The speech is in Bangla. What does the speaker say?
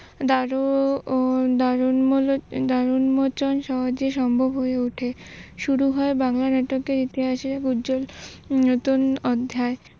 দারুন মোচন সম্ভব হয়ে উঠে । শুরু হয় বাংলা নাটকের ইতিহাসের এক উজ্জ্বল নতুন অধ্যায়।